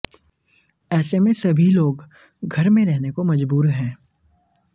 ऐसे में सभी लोग घर में रहने को मजबूर हैं